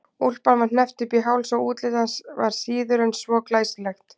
Úlpan var hneppt upp í háls og útlit hans var síður en svo glæsilegt.